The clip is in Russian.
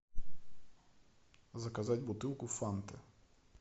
заказать бутылку фанты